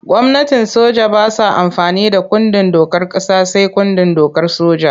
Gwamnatin soja ba sa amfani da kundin dokar ƙasa sai kundin dokar soja.